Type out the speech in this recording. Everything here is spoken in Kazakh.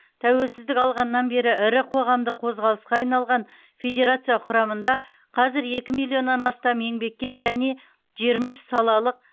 тәуелсіздік алғаннан бері ірі қоғамдық қозғалысқа айналған федерация құрамында қазір екі миллионнан астам еңбеккер және жиырма үш салалық